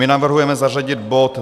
My navrhujeme zařadit bod